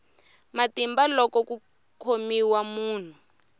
matimba loko ku khomiwa munhu